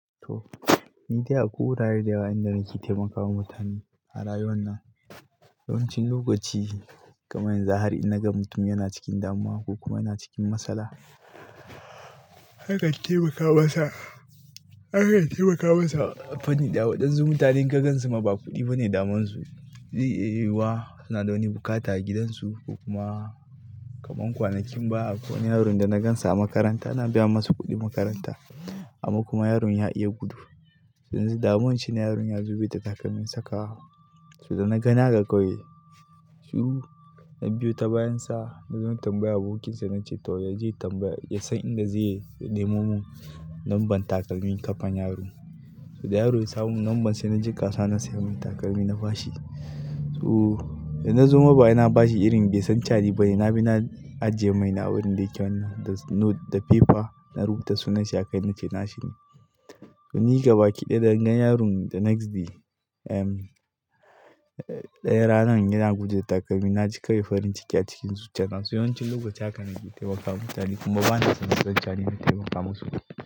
To, ni dai akwai wurare da yawa inda nake taimakawa mutane a rayuwa na. Yawancin lokaci kamar yanzu har in naga mutum yana cikin damuwa ko kuma yana cikin matsala haka, in taimaka masa. Haka in taimaka masa a fanni da waɗansu mutane in ka gansu ma ba kuɗi ba ne daman su. Zai iya yiwuwa, suna da wani bukatu a gidansu ko kuma kamar kwanakin baya ko wani yaron da na gansa a makaranta na biya masa kuɗin makaranta amma kuma yaron ya iya gudu. Yanzu damuwan shine yaron ya zube ta takalmin saka wa. So da na gani haka kawai, shuru na biyu ta bayan sa na zo in tambaya abokinsa na ce to yaje tambaya ya san inda zai yi, ya nemo mun number takalmin kafa yaron. Da yaro ya samu numbern sai naji kasuwa na siya min takalmi na fashi. So da na zo maba'i na bashi irin bai san cewa ni ba ne. Na bi na ajiye maina wurin da yake wannan the note the paper na rubuta sunan shi a kai na ce na shi ne. To nika baki ɗaya da na gan yaron the next day, eh daya ranan yana guje da takalmi na ji kawai farin ciki a cikin zuciya na. So yawancin lokaci haka nake taimakawa mutane kuma ba na san su san cewa ni na taimaka masu.